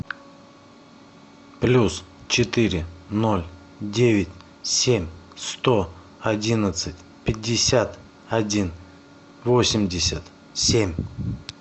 плюс четыре ноль девять семь сто одиннадцать пятьдесят один восемьдесят семь